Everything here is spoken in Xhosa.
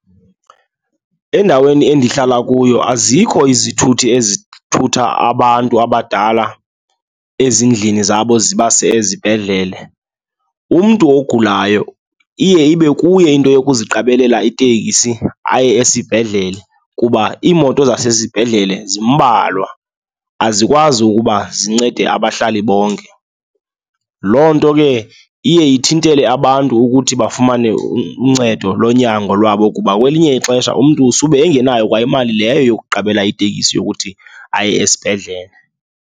Endaweni endihlala kuyo azikho izithuthi ezithutha abantu abadala ezindlini zabo zibase ezibhedlele. Umntu ogulayo iye ibe kuye into wokuziqabelela itekisi aye esibhedlele kuba iimoto zasesibhedlele zimbalwa, azikwazi ukuba zincede abahlali bonke. Loo nto ke iye ithintele abantu ukuthi bafumane uncedo lonyango lwabo kuba kwelinye ixesha umntu sube engenayokwa imali leyo yokuqabela itekisi yokuthi aye esibhedlele.